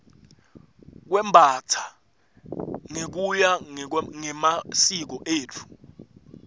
kwembastsa ngekuya ngemasiko etfu